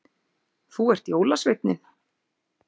Þú ert jólasveinninn